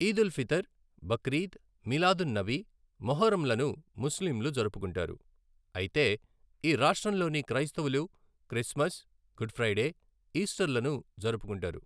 ఈద్ ఉల్ ఫితర్, బక్రీద్, మిలాద్ ఉన్ నబి, మొహర్రంలను ముస్లింలు జరుపుకుంటారు, అయితే ఈ రాష్ట్రం లోని క్రైస్తవులు క్రిస్మస్, గుడ్ ఫ్రైడే, ఈస్టర్ లను జరుపుకుంటారు.